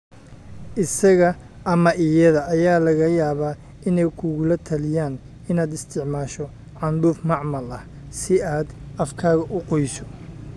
Isaga ama iyada ayaa laga yaabaa inay kugula taliyaan inaad isticmaasho candhuuf macmal ah si aad afkaaga u qoyso.